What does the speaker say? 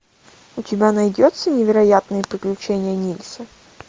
у тебя найдется невероятные приключения нильса